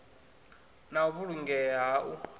na u vhulungea ha u